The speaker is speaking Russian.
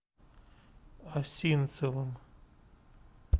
осинцевым